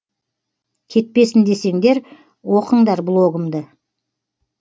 кетпесін десеңдер оқыңдар блогымды